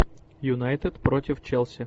юнайтед против челси